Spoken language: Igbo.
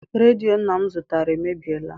Redio nna m zụtara emebiela.